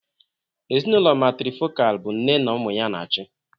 Ezinụlọ Matrifocal bụ nne na ụmụ ya na-achị.